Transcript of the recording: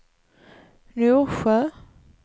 Norsjö